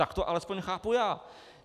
Tak to alespoň chápu já.